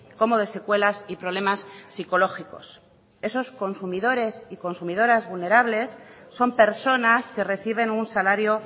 como de secuelas y problemas psicológicos esos consumidores y consumidoras vulnerables son personas que reciben un salario